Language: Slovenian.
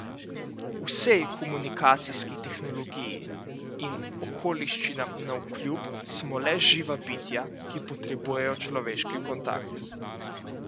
Vsej komunikacijski tehnologiji in okoliščinam navkljub, smo le živa bitja, ki potrebujejo človeški kontakt.